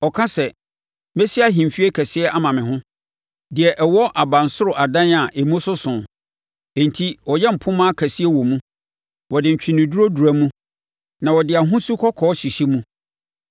Ɔka sɛ, ‘Mɛsi ahemfie kɛseɛ ama me ho deɛ ɛwɔ abansoro adan a emu soso.’ Enti ɔyɛ mpomma akɛseɛ wɔ mu; ɔde ntweneduro dura mu na ɔde ahosu kɔkɔɔ hyehyɛ mu.